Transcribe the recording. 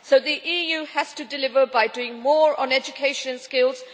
So the EU has to deliver by doing more on education and skills.